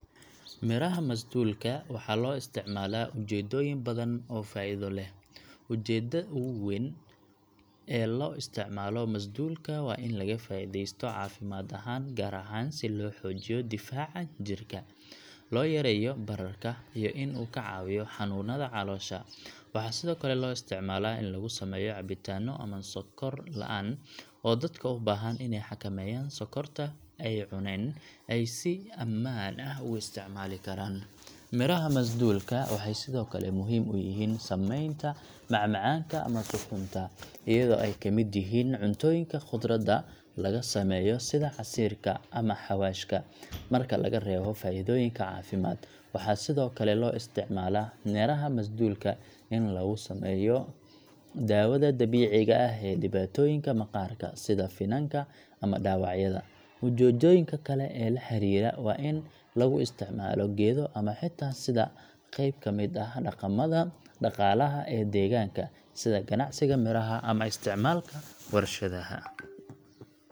Miraha masduulka waxaa loo isticmaalaa ujeedooyin badan oo faa’iido leh. Ujeedada ugu weyn ee loo isticmaalo masduulka waa in laga faa’iideysto caafimaad ahaan, gaar ahaan si loo xoojiyo difaaca jirka, loo yareeyo bararka, iyo in uu ka caawiyo xanuunada caloosha. Waxaa sidoo kale loo isticmaalaa in lagu sameeyo cabitaanno ama sonkor la’aan, oo dadka u baahan inay xakameeyaan sonkorta ay cuneen ay si ammaan ah ugu isticmaali karaan. Miraha masduulka waxay sidoo kale muhiim u yihiin sameynta macmacaanka ama suxuunta, iyadoo ay ka mid yihiin cuntooyinka khudrada laga sameeyo sida casiirka ama xawaashka. Marka laga reebo faa’iidooyinka caafimaad, waxaa sidoo kale loo isticmaalaa miraha masduulka in lagu sameeyo daawada dabiiciga ah ee dhibaatooyinka maqaarka, sida finanka ama dhaawacyada. Ujeedooyinka kale ee la xiriira waa in lagu isticmaalo geedo ama xitaa sida qayb ka mid ah dhaqamada dhaqaalaha ee deegaanka, sida ganacsiga miraha ama isticmaalka warshadaha.